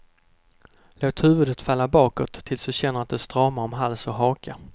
Låt huvudet falla bakåt tills du känner att det stramar om hals och haka.